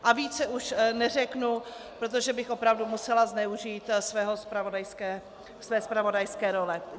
A více už neřeknu, protože bych opravdu musela zneužít své zpravodajské role.